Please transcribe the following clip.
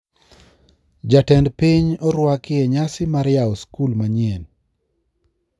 Ja-tend piny orwaki e nyasi mar yao skul manyien